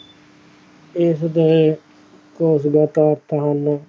ਉਹਦੇ ਖੌਫ ਦਾ ਤਾਂ ਅੱਤ ਹਾਨਿਯੋ